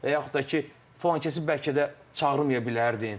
Və yaxud da ki, filankəsi bəlkə də çağırmaya bilərdin.